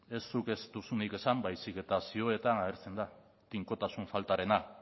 ez zuk ez duzunik esan baizik eta zioetan agertzen da tinkotasun faltarena